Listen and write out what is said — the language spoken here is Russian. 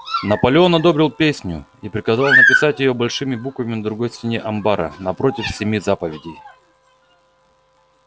наполеон одобрил песню и приказал написать её большими буквами на другой стене амбара напротив семи заповедей